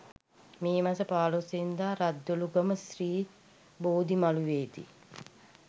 මේ මස 15 වැනි දා රද්දොළුගම ශ්‍රී බෝධිමළුවේ දී